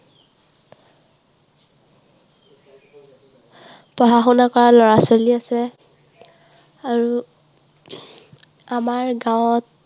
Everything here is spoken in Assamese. পঢ়া শুনা কৰা লৰা ছোৱালী আছে। আৰু আমাৰ গাঁৱত